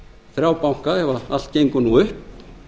þrjá banka ef allt gengur nú upp